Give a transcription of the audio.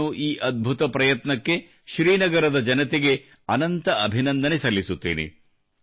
ನಾನು ಈ ಅದ್ಭುತ ಪ್ರಯತ್ನಕ್ಕೆ ಶ್ರೀನಗರದ ಜನತೆಗೆ ಅನಂತ ಅಭಿನಂದನೆ ಸಲ್ಲಿಸುತ್ತೇನೆ